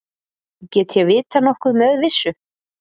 Get ég vitað nokkuð með vissu?